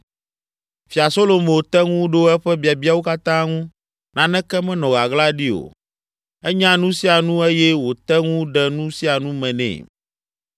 Fia Solomo te ŋu ɖo eƒe biabiawo katã ŋu, naneke menɔ ɣaɣla ɖi o. Enya nu sia nu eye wòte ŋu ɖe nu sia nu me nɛ.